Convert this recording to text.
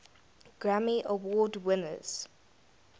grammy award winners